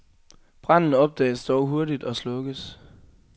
Branden opdages dog hurtigt og slukkes.